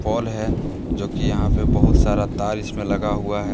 पोल हैं जोकि यहां पे बहुत सारा तार इसमें लगा हुआ है।